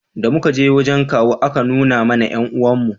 da muka je wajen kawu a ka nuna mana 'yan uwan mu